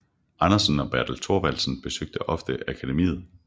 Andersen og Bertel Thorvaldsen besøgte ofte akademiet